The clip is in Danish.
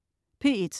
P1: